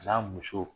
A n'a musow